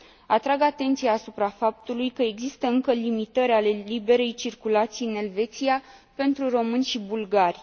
Atrag atenția asupra faptului că există încă limitări ale liberei circulații în Elveția pentru români și bulgari.